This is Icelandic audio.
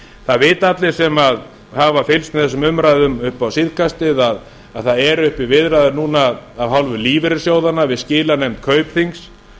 það vita allir sem hafa fylgst með þessum umræðum upp á síðkastið að það eru uppi viðræður núna af hálfu lífeyrissjóðanna við skilanefnd kaupþings